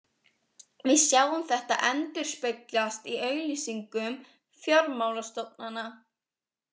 Við sjáum þetta endurspeglast í auglýsingum fjármálastofnana.